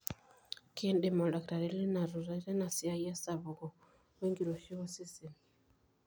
kiindim oldakitari lino atuutai teina siai esapuko wenkiroshi osesen